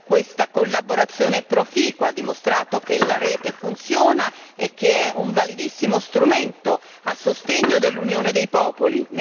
Questa collaborazione proficua ha dimostrato che la rete funziona e che è un validissimo strumento a sostegno dell'unione dei popoli.